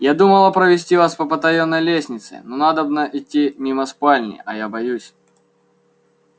я думала провести вас по потаённой лестнице но надобно идти мимо спальни а я боюсь